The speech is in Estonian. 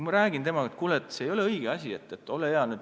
Ma rääkisin temaga, et kuule, see ei ole õige asi.